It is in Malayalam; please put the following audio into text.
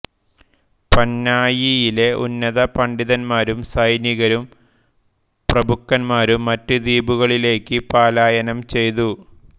പന്നായിയിലെ ഉന്നത പണ്ഡിതന്മാരും സൈനികരും പ്രഭുക്കന്മാരും മറ്റ് ദ്വീപുകളിലേക്ക് പലായനം ചെയ്തു